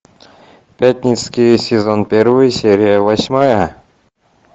пятницкий сезон первый серия восьмая